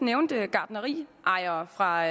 nævnte gartneriejere fra